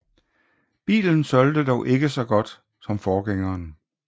Bilen solgte dog ikke lige så godt som forgængeren